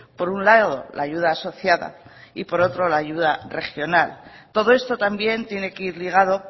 por un lado la ayuda asociada y por otro la ayuda regional todo esto también tiene que ir ligado